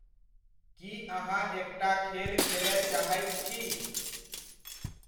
की अहाँ एकटा खेल खेलय चाहैत छी?